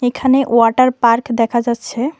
এখানে water park দেখা যাচ্ছে।